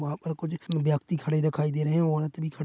वहाँ पर कुछ व्यक्ति खड़े दिखाई दे रहे हैं औरत भी खड़--